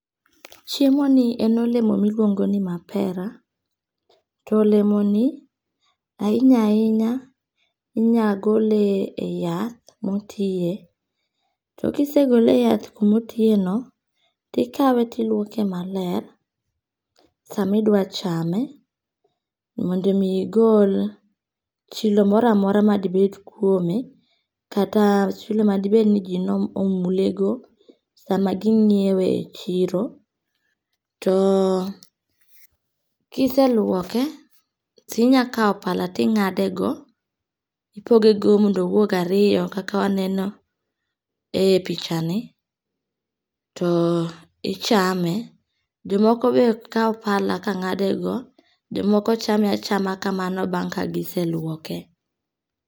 Chiemoni en olemo miluongoni mapera. To olemoni ahinya ahinya, inya gol e yath motiye, to kisegole e yath kuma otiyeno, tikawe tiluoke maler sama idwa chame mondo omi igol chilo mora mora madibed kuome, kata chilo madibed ni ji nomulego sama ginyiewe e chiro. To kiselwoke tinya kawo pala ting'adego, ipogego mondo owuog ariyo kaka waneno e pichani, to ichame. Jomoko be kawo pala be ka ng'ade go, jomoko chame achama kamano bang' kagise lwoke.